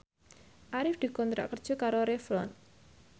Arif dikontrak kerja karo Revlon